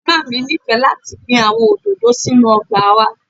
Mama mi nifẹ lati gbin awọn ododo sinu ọgba wa.